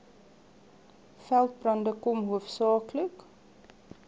veldbrande kom hoofsaaklik